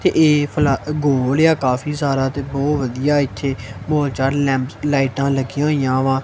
ਤੇ ਇਹ ਫਲਾ ਗੋਲ ਆ ਕਾਫੀ ਸਾਰਾ ਤੇ ਬਹੁਤ ਵਧੀਆ ਇੱਥੇ ਬੋਹੁਤ ਜਿਆਦਾ ਲੈਂਪਸ ਲਾਈਟਾਂ ਲੱਗੀ ਹੋਈਆਂ ਵਾਂ।